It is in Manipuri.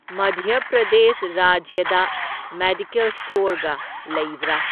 ꯃꯙ꯭ꯌ ꯄ꯭ꯔꯗꯦꯁ ꯔꯥꯖ꯭ꯌꯗ ꯃꯦꯗꯤꯀꯦꯜ ꯁ꯭ꯇꯣꯔꯒ ꯂꯩꯕ꯭ꯔꯥ?